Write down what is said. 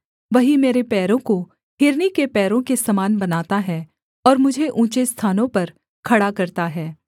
वही मेरे पैरों को हिरनी के पैरों के समान बनाता है और मुझे ऊँचे स्थानों पर खड़ा करता है